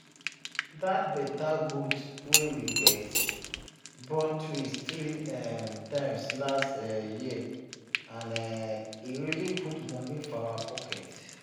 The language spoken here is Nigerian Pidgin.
that better goat wey we get born twin three um time last um year and um e really put money for our pocket